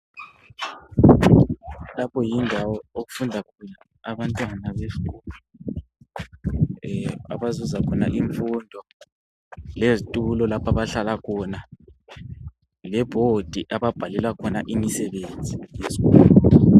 Lapho yindawo okufunda khona abantwana besikolo abazuza khona imfundo lezitulo lapho abhahlala khona lebhodi abhalelwa khona imisebenzi yesikolo .